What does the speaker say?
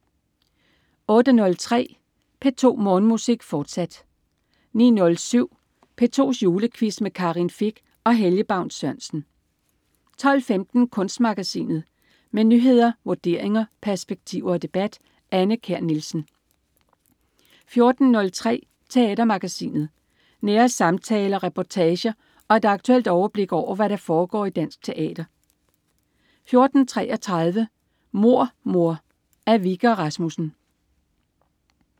08.03 P2 Morgenmusik, fortsat 09.07 P2's Julequiz med Karin Fich og Helge Baun Sørensen 12.15 Kunstmagasinet. Med nyheder, vurderinger, perspektiver og debat. Anne Kjær Nielsen 14.03 Teatermagasinet. Nære samtaler, reportager og et aktuelt overblik over, hvad der foregår i dansk teater 14.33 Mord mor. Af Wikke og Rasmussen